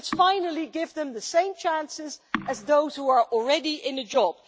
Let's finally give them the same chances as those who are already in a job.